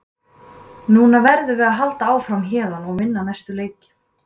Núna verðum við að halda áfram héðan og vinna næstu leiki.